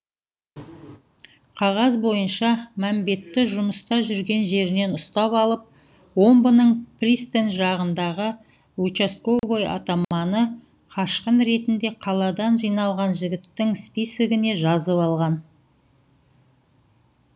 қағаз бойынша мәмбетті жұмыста жүрген жерінен ұстап алып омбының пристань жағындағы учасковой атаманы қашқын ретінде қаладан жиналған жігіттің списігіне жазып алған